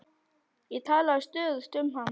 Ég talaði stöðugt um hann.